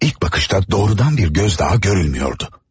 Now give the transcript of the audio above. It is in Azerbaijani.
İlk baxışda birbaşa bir göz daha görünmürdü.